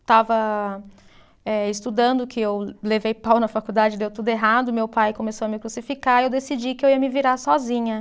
Estava eh estudando, que eu levei pau na faculdade, deu tudo errado, meu pai começou a me crucificar e eu decidi que eu ia me virar sozinha.